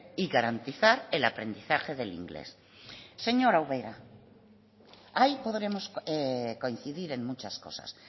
y garantizar el aprendizaje del inglés señora ubera ahí podremos coincidir en muchas cosas